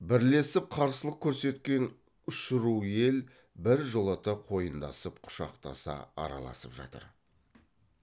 бірлесіп қарсылық көрсеткен үш ру ел біржолата қойындасып құшақтаса араласып жатыр